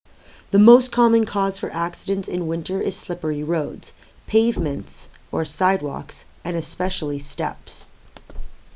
the most common cause for accidents in winter is slippery roads pavements sidewalks and especially steps